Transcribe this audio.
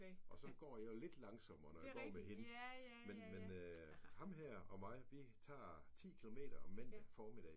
Og så går jeg jo lidt langsommere når jeg går med hende men men ham her og mig vi tager 10 kilometer mandag formiddag